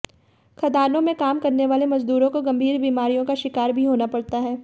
खदानों में काम करने वाले मजदूरों को गंभीर बीमारियों का शिकार भी होना पड़ता है